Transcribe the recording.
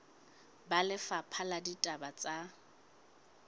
ba lefapha la ditaba tsa